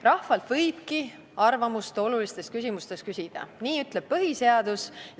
Rahvalt võibki olulistes küsimustes arvamust küsida, nii ütleb põhiseadus.